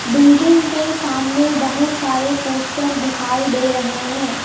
Building के सामने बहुत सारे पोस्टर दिखाई दे रहे हैं.